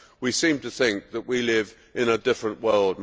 We seem to think that we live in a different world.